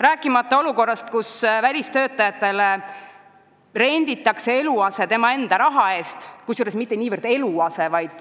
Rääkimata olukorrast, kus välistöötajatele antakse üürile eluase tema enda raha eest, kusjuures